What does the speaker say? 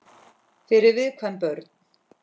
Fyrir viðkvæm börn.